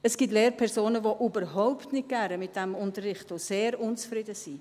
Es gibt Lehrpersonen, die überhaupt nicht gerne damit unterrichten und sehr unzufrieden sind.